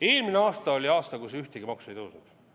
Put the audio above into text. Eelmine aasta oli aasta, kus ühtegi maksu ei tõstetud.